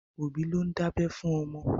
Òbí ló ń dábẹ́ fún ọmọ.